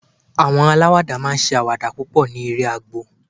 àwọn alawada ma n ṣe awada púpò ní agbo eré